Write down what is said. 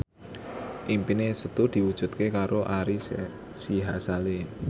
impine Setu diwujudke karo Ari Sihasale